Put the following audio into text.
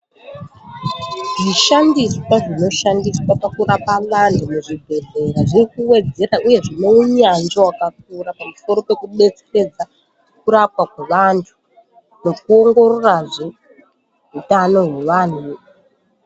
Zvishandiswa, zvinoshandiswa pakurapa vanthu muzvibhedhlera zviri kuwedzera, uye zvine unyanzvi wakakura pamusoro pekubetseredza kurapwa kwevanthu, nekuongororazve utano hwevanhu.